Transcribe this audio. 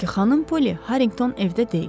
Çünki xanım Poli Harrington evdə deyil.